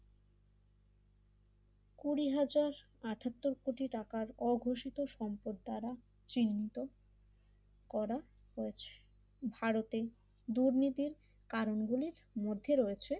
কুড়ি হাজার আটাত্তর কোটি টাকার অঘোষিত সম্পদ দ্বারা চিহ্নিত করা হয়েছে ভারতের দুর্নীতির কারণগুলির মধ্যে রয়েছে